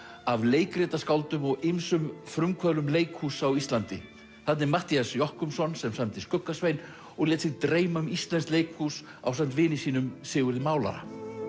af leikritaskáldum og ýmsum frumkvöðlum leikhúss á Íslandi þarna er Matthías Jochumsson sem samdi skugga Svein og lét sig dreyma um íslenskt leikhús ásamt vini sínum Sigurði málara